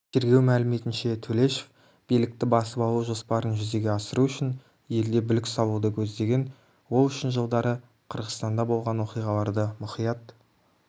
тергеу мәліметінше төлешов билікті басып алу жоспарын жүзеге асыру үшін елде бүлік салуды көздеген ол үшін жылдары қырғызстанда болған оқиғаларды мұқият